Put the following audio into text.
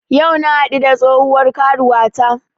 Yau na haɗu da tsohuwar karuwata